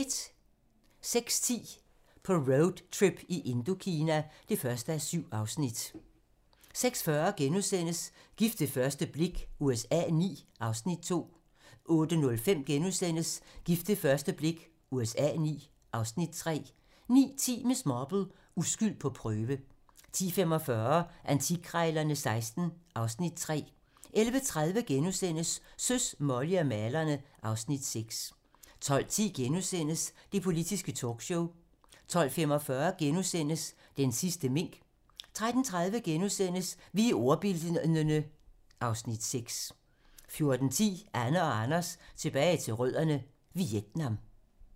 06:10: På roadtrip i Indokina (1:7) 06:40: Gift ved første blik USA IX (Afs. 2)* 08:05: Gift ved første blik USA IX (Afs. 3)* 09:10: Miss Marple: Uskyld på prøve 10:45: Antikkrejlerne XVI (Afs. 3) 11:30: Søs, Molly og malerne (Afs. 6)* 12:10: Det politiske talkshow * 12:45: Den sidste mink * 13:30: Vi er ordbildne (Afs. 6)* 14:10: Anne og Anders tilbage til rødderne: Vietnam